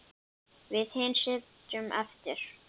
Við hin sitjum eftir.